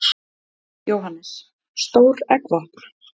Jóhannes: Stór eggvopn?